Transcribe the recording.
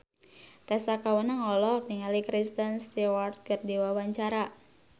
Tessa Kaunang olohok ningali Kristen Stewart keur diwawancara